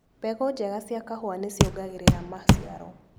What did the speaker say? Mbegũ njega cia kahũa nĩciongagĩrira maciaro.